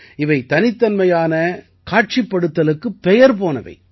இவை தனித்தன்மையான காட்சிப்படுத்தலுக்காகப் பெயர் போனவை